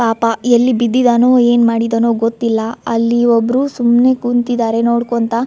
ಪಾಪ ಎಲ್ಲಿ ಬಿದ್ದಿದ್ದಾನೋ ಏನ್ ಮಾಡಿದನೋ ಗೊತ್ತಿಲ್ಲಾ ಅಲ್ಲಿ ಒಬ್ರು ಸುಮ್ಮನೆ ಕುಂತ್ತಿದರೆ ನೋಡ್ಕೊಂತ್ತಾ.